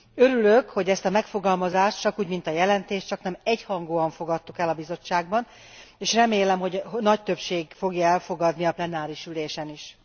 Örülök, hogy ezt a megfogalmazást, csakúgy mint a jelentést, csaknem egyhangúan fogadtuk el a Bizottságban, és remélem, hogy nagy többség fogja elfogadni a plenáris ülésen is.